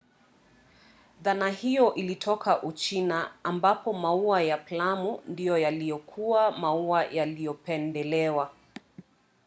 dhana hiyo ilitoka uchina ambapo maua ya plamu ndiyo yaliyokuwa maua yaliyopendelewa